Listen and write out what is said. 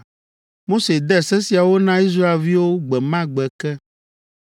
Mose de se siawo na Israelviwo gbe ma gbe ke.